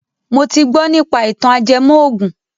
Mo ti gbọ nípa ìtàn ajẹmọ ògùn